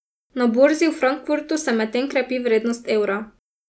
Na borzi v Frankfurtu se medtem krepi vrednost evra.